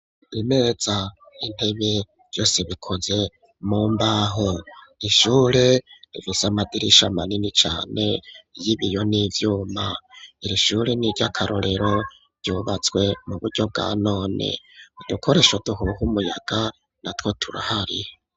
imeza, intebe, vyose bikoze mu mbaho, ishure rifise amadirisha manini cane y'ibiyo n,ivyuma, iri shure n'iry'akarorero ryubatswe mu buryo bwa none udukoresho duhuha umuyaga na two turahari.